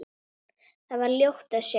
Þar var ljótt að sjá.